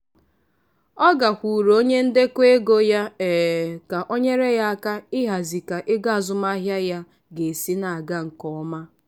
ọ gakwuuru onye ndekọ ego ya um ka o nyere ya aka ịhazi ka ego azụmahịa ya ga-esi na-aga nke ọma.